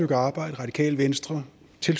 radikale venstre